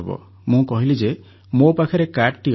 ମୁଁ କହିଲି ଯେ ମୋ ପାଖରେ କାର୍ଡ଼ଟି ଅଛି